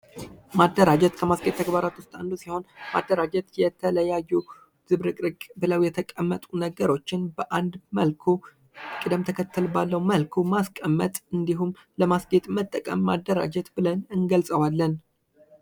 ማደራጀት ከማስጌጥ ተግባራት ዉስጥ አንዱ ሲሆን ማደራጀት የተለያዩ ዝብርቅርቅ ብለዉ የተቀመጡ ነገሮችን በአንድ መልኩ ቅደም ተከተል ባለዉ መልኩ ማስቀመጥ ወይም ማስጌጥ ማደራጀት ልንለዉ እንችላለን።